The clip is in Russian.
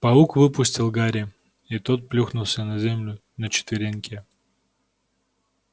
паук выпустил гарри и тот плюхнулся на землю на четвереньки